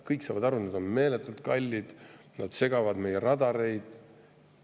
Kõik saavad aru, et need on meeletult kallid, need segavad meie radareid.